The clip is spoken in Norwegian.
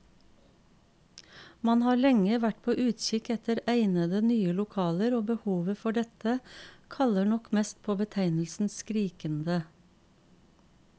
Man har lenge vært på utkikk etter egnede, nye lokaler, og behovet for dette kaller nok mest på betegnelsen skrikende.